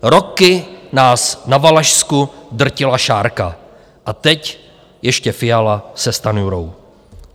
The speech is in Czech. Roky nás na Valašsku drtila šarka a teď ještě Fiala se Stanjurou!